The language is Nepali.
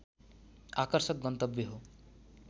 आकर्षक गन्तव्य हो